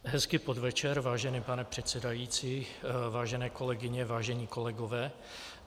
Hezký podvečer, vážený pane předsedající, vážené kolegyně, vážení kolegové.